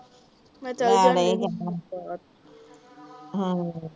ਮੈ ਚੱਲ ਜਾਂਦੀ ਹਮ ਹਾ ਠੀਕ ਹੈ ਹ ਹਮ ਹੋਰ ਮੈ ਚਲੀ ਜਾਂਦੀ ਫਿਰ